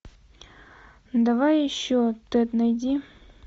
давай еще тэд найди